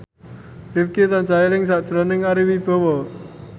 Rifqi tansah eling sakjroning Ari Wibowo